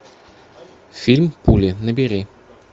фильм пули набери